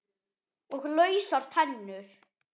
Og lausar tennur!